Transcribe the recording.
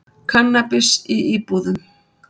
Kannabis í íbúðum